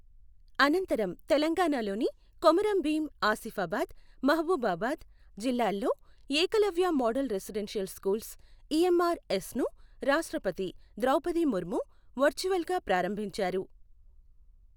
అనంతరం తెలంగాణలోని కొమురం భీం ఆసిఫాబాద్, మహబూబాబాద్ జిల్లాల్లో Eklavya model residential schools EMR S ను రాష్ట్రపతి ద్రౌపది ముర్ము వర్చువల్ గా ప్రారంభించారు.